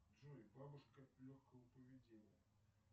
джой бабушка легкого поведения